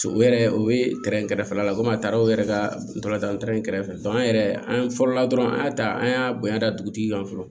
U yɛrɛ u bɛ kɛrɛfɛla la komi a taara o yɛrɛ ka tola kɛrɛfɛ an yɛrɛ an fɔlɔ la dɔrɔn an y'a ta an y'a bonya da dugutigi kan fɔlɔ